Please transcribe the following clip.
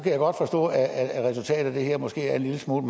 jeg godt forstå at at resultatet af det her måske er en lille smule